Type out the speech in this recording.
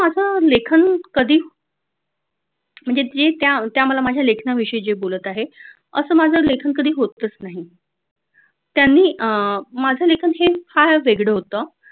लेखन कधी म्हणजे जे त्या त्या आम्हाला माझ्या लेखनाविषयी जे बोलत आहे. असं माझं लेखन कधी होतच नाही त्यांनी अह माझं लेखन हे फार वेगळं होतं